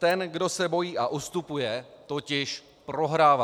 Ten, kdo se bojí a ustupuje, totiž prohrává.